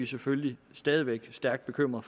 selvfølgelig stadig væk stærkt bekymrede